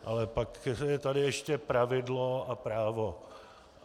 Ale pak je tady ještě pravidlo a právo.